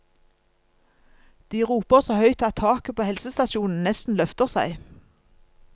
De roper så høyt at taket på helsestasjonen nesten løfter seg.